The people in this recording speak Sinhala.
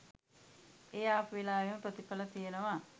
ඒ ආපු වෙලාවේම ප්‍රතිඵල තියෙනවා.